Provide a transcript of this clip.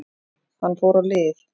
Hann fór á lyf.